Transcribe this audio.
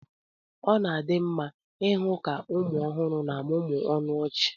ọ na-adị mma ịhụ ka ụmụ ọhụrụ na-amụmụ ọnụ ọchị